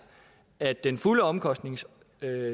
at den fulde omkostningsdækning